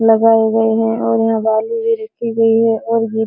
लगाए गए हैं और यहाँ बालू भी रखी गई है और भी --